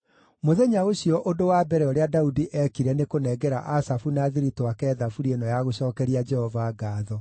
Mũthenya ũcio ũndũ wa mbere, ũrĩa Daudi eekire nĩ kũnengera Asafu na athiritũ ake thaburi ĩno ya gũcookeria Jehova ngaatho: